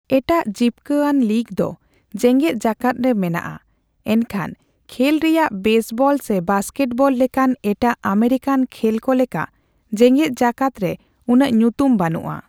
ᱮᱴᱟᱜ ᱡᱤᱵᱽᱠᱟᱹ ᱟᱱ ᱞᱤᱜᱽ ᱫᱚ ᱡᱮᱜᱮᱫ ᱡᱟᱠᱟᱫ ᱨᱮ ᱢᱮᱱᱟᱜᱼᱟ, ᱮᱱᱠᱷᱟᱱ ᱠᱷᱮᱞ ᱨᱮᱭᱟᱜ ᱵᱮᱥᱵᱚᱞ ᱥᱮ ᱵᱟᱥᱠᱮᱴᱵᱚᱞ ᱞᱮᱠᱟᱱ ᱮᱴᱟᱜ ᱟᱢᱮᱨᱤᱠᱟᱱ ᱠᱷᱮᱞ ᱠᱚ ᱞᱮᱠᱟ ᱡᱮᱜᱮᱫ ᱡᱟᱠᱟᱛ ᱨᱮ ᱩᱱᱟᱹᱜ ᱧᱩᱛᱩᱢ ᱵᱟᱹᱱᱩᱜᱼᱟ ᱾